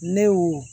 Ne y'o